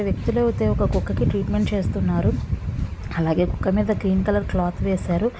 వ్యక్తులు అయితే ఒక కుక్కకి ట్రీట్మెంట్ చేస్తున్నారు. అలాగే కుక్క మీద గ్రీన్ కలర్ క్లాత్ వేసారు.